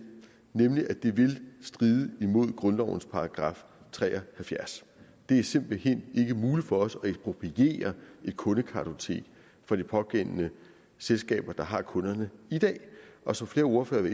nemlig at det ville stride imod grundlovens § tre og halvfjerds det er simpelt hen ikke muligt for os at ekspropriere et kundekartotek fra de pågældende selskaber der har kunderne i dag og som flere ordførere